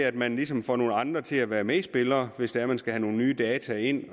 at man ligesom får nogle andre til at være medspillere hvis man man skal have nogle nye data ind